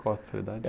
Qual a especialidade?